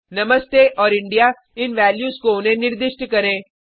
नमस्ते और इंडिया इन वैल्यूज को उन्हें निर्दिष्ट करें